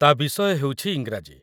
ତା' ବିଷୟ ହେଉଛି ଇଂରାଜୀ